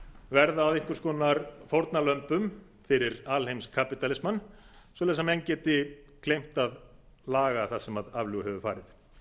verða að einhvers konar fórnarlömbum fyrir alheimskapítalismann svo að menn geti gleymt að laga það sem aflaga hefur farið